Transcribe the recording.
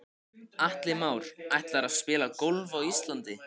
Atli Már: Ætlarðu að spila golf á Íslandi?